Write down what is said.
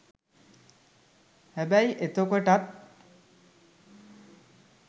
හැබැයි එතකොටත්